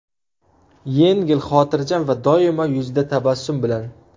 Yengil, xotirjam va doimo yuzida tabassum bilan.